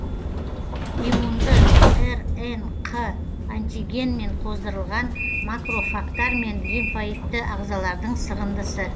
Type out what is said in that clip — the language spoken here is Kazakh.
иммунды рнқ антигенмен қоздырылған макрофагтар мен лимфоидты ағзалардың сығындысы